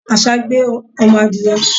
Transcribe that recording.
Àṣá gbé ọmọ adìẹ.